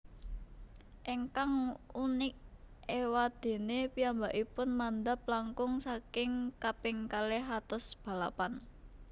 Ingkang unik éwadéné piyambakipun mandhap langkung saking kaping kalih atus balapan